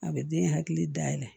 A bɛ den hakili dayɛlɛ